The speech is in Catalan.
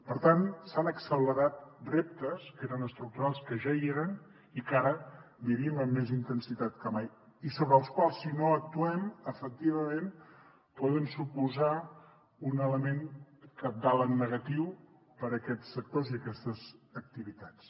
per tant s’han accelerat reptes que eren estructurals que ja hi eren i que ara vivim amb més intensitat que mai i sobre els quals si no actuem efectivament poden suposar un element cabdal en negatiu per a aquests sectors i aquestes activitats